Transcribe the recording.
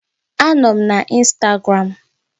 Anọ m na Instagram